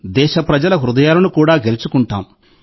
దేశప్రజల హృదయాలను కూడా గెలుచుకుంటాం